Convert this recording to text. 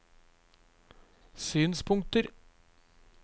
synspunkter